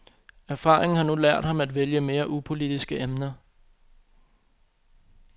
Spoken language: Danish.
Erfaringen har nu lært ham at vælge mere upolitiske emner.